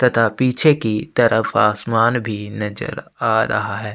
तथा पीछे की तरफ आसमान भी नजर आ रहा है।